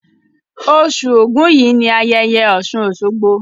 Osù Ògún yìí ni ayẹyẹ Ọ̀ṣùn Òṣogbo.